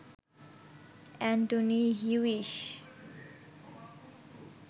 Antony Hewish